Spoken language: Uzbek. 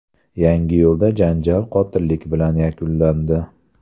Yangiyo‘lda janjal qotillik bilan yakunlandi.